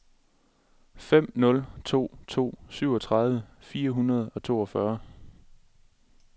fem nul to to syvogtredive fire hundrede og toogfyrre